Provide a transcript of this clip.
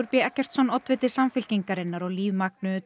b Eggertsson oddviti Samfylkingarinnar og Líf